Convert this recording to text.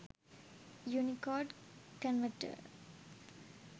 unicode converter